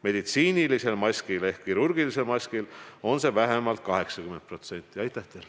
Meditsiinilisel maskil ehk kirurgilisel maskil on see vähemalt 80%.